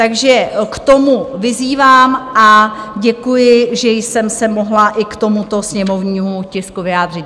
Takže k tomu vyzývám a děkuji, že jsem se mohla i k tomuto sněmovnímu tisku vyjádřit.